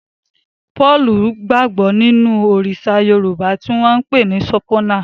Paul gbagbo ninu Òrìṣà Yorùbá ti wón npè ni Sopona.